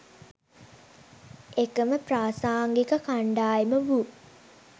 එකම ප්‍රාසාංගික කණ්ඩායම වූ